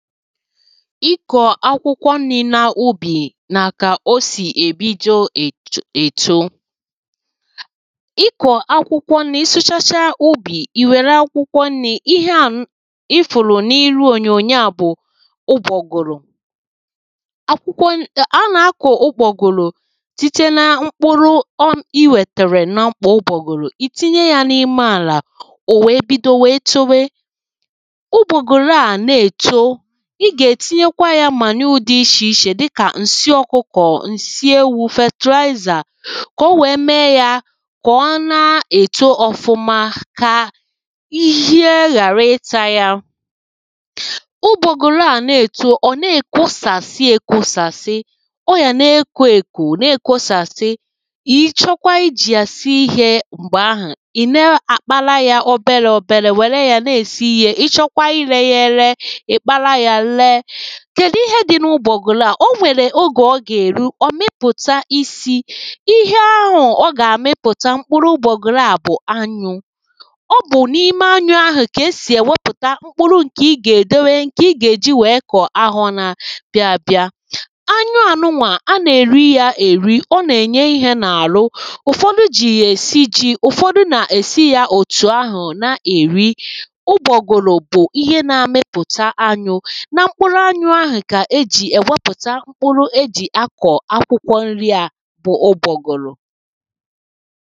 ịkọ̀ akwụkwọ nrī na ubì nà kà o sì èbido èto ịkọ̀ akwụkwọ nrī ị sụchachaa úbì ì wère akwụkwọ nrī ihe a ị fụ̀rụ̀ n’iru ònyònyo à bụ̀ ụgbọ̀gụ̀rụ akwụkwọ nrī nà-akọ ụgbọ̀gụ̀rụ site na mkpụrụ I wètèrè nà mkpò ụgbọ̀gụ̀rụ ìtinye ya n’ime àlà ò wèe bido wèe chowe ụgbọ̀gụ̀rụ à na-èto ị gà-ètinyekwa ya manure dị ichè ichè dika ǹsị ọ̀kụkọ̀ ǹsị ewū fertilizer kà o wèe mee ya kà ọ na-èto ọfụma kà ịshịe ghàra ịta ya ụgbọ̀gụ̀rụ àna-èto ọ̀ na-èkosàsị èkosàsị ọ ghàna ekò èkò na-èkosàsị ị chọkwa ijì yà sie ihē m̀gbè ahù ì na-àkpara ya oberē oberē wère ya na-èsi ihē ị chọkwa irē ya ere ì kpara ya lee kèdu ihe dị n’ugbọ̀gụ̀rụ à o nwèrè ogè ọ gà-èru ọ mịpụ̀ta isī ihe ahù ọ gà-àmịputa mkpụrụ ugbọ̀gụ̀rụ à bù anyụ̄ ọ bù n’ime anyụ̄ ahù kà esì èwepùta mkpụrụ ǹkè ị gà-èdowe ǹkè ị gà-èji wee kọ̀ ahọ na-abịa abịa anyụànụnwà a nà-èri ya èri ọ nà-ènye ihē nà àhụ ụ̀fọdu jì ya èsi jī ụ̀fọdụ nà-èsi ya òtù ahù na-èri ugbọ̀gụ̀rụ bù ihe na-amịpùta anyū na mkpụrụ anyū ahù kà esì èwepùta mkpụrụ ejì akọ̀ akwụkwọ nrī à bụ ugbọ̀gụ̀rụ̀